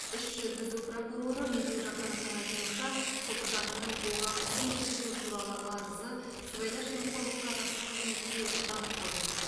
іс жүргізу прокуроры медеу жақановтың айтуынша сопыжановтың оған қысым көрсету туралы арызы сыбайлас жемқорлыққа қарсы қызметке бағытталған